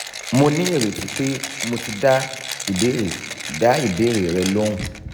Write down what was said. mo ní ireti pé mo ti dá ìbéèrè dá ìbéèrè rẹ lohùn